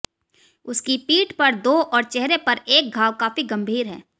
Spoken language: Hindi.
उसकी पीठ पर दो और चेहरे पर एक घाव काफी गंभीर है